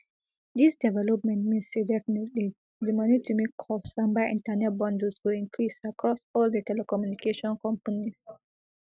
dis development mean say definitely di money to make calls and buy internet bundles go increase across all di telecommunication companies